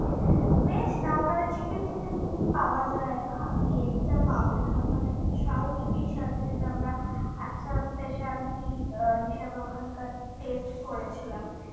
veg না ওখানে chicken ফিকেন পাওয়া যায়না আপনি egg তা পাবেন আর ওখানে একটা charut fish আছে যেটা আমরা একটা special tea হিসাবে ওখানকার test করেছিলাম